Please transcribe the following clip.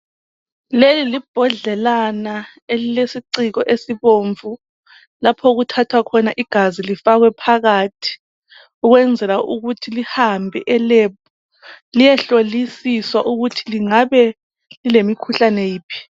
Leli libhodlelana elilesiciko esibomvu lapho okuthathwa khona igazi lifakwe phakathi ukwenzela ukuthi lihambe eLab liyehlolisiswa ukuthi lingabe lilemikhuhlane yiphi.